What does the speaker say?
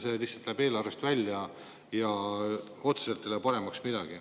See lihtsalt läheb eelarvest välja ja otseselt ei lähe paremaks midagi.